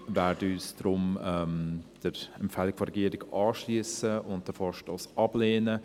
Wir werden uns deshalb der Empfehlung der Regierung anschliessen und den Vorstoss ablehnen.